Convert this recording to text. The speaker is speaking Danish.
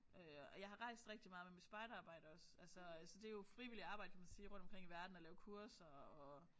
Øh og jeg har rejst rigtig meget med mit spejderarbejde også altså øh så det jo frivilligt arbejde kan man sige rundt omkring i verden at lave kurser og